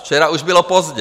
Včera už bylo pozdě!